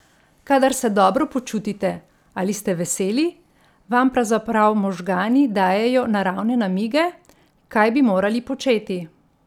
Kadar se dobro počutite ali ste veseli, vam pravzaprav možgani dajejo naravne namige, kaj bi morali početi.